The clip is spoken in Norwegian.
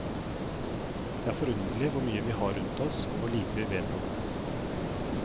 Det er forunderlig hvor mye vi har rundt oss, og hvor lite vi vet om det.